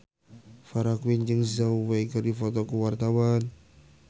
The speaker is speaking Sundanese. Farah Quinn jeung Zhao Wei keur dipoto ku wartawan